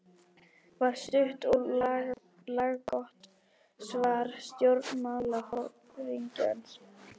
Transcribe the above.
var stutt og laggott svar stjórnmálaforingjans.